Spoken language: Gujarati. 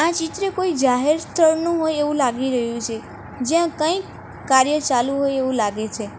ચિત્ર કોઈ જાહેર સ્થળનું હોય એવું લાગી રહ્યું છે જ્યાં કંઈક કાર્ય ચાલુ હોય એવું લાગે છે.